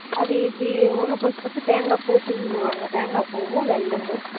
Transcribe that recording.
அத இப்படி ஒண்ணு பிடுச்சு பிடுச்சு தேங்கா பூ தூவி விடுவாங்க தேங்கா பூவும் வெல்லமும்